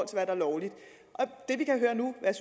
der er lovligt det vi kan høre nu hvad